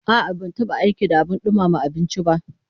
A'a, ban taba aiki da abin dumama abinci ba